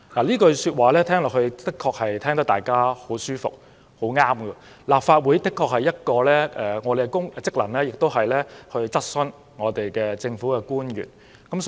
這句說話聽來的確十分舒服，好像很有道理，立法會其中一個職能確實是向政府官員提出質詢。